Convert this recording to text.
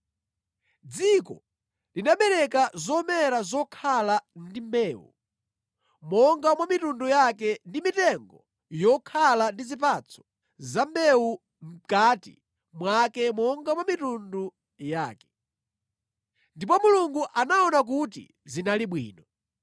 Dziko linabereka zomera zokhala ndi mbewu monga mwa mitundu yake ndi mitengo yokhala ndi zipatso za mbewu mʼkati mwake monga mwa mitundu yake. Ndipo Mulungu anaona kuti zinali bwino.